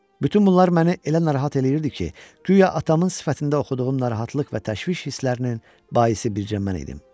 Bütün bunlar məni elə narahat eləyirdi ki, guya atamın sifətində oxuduğum narahatlıq və təşviş hisslərinin baisi bircə mən idim.